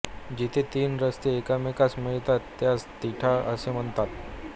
जेथे तीन रस्ते एकमेकास मिळतात त्यास तिठा असे म्हणतात